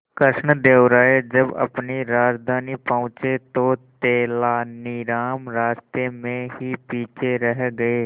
कृष्णदेव राय जब अपनी राजधानी पहुंचे तो तेलानीराम रास्ते में ही पीछे रह गए